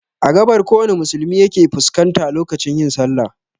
Every Muslim points to the East direction during prayer